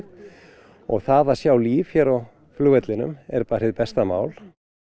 og það að sjá líf hér á flugvellinum er bara hið besta mál